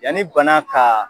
Yanni bana kaa